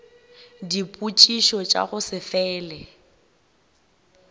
dipotšišo tša go se fele